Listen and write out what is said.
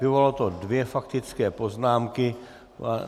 Vyvolalo to dvě faktické poznámky.